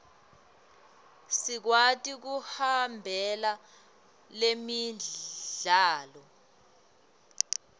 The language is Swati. sikwati kuhambela lemidlalo